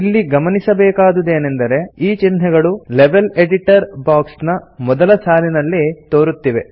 ಇಲ್ಲಿ ಗಮನಿಸಬೇಕಾದುದೇನೆಂದರೆ ಈ ಚಿಹ್ನೆಗಳು ಲೆವೆಲ್ ಎಡಿಟರ್ ಬಾಕ್ಸ್ ನ ಮೊದಲ ಸಾಲಿನಲ್ಲಿ ತೋರುತ್ತಿವೆ